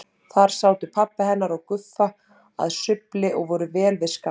Þar sátu pabbi hennar og Guffa að sumbli og voru vel við skál.